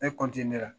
Ne la